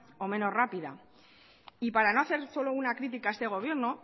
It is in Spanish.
o menos rápida y para no hacer solo una critica a este gobierno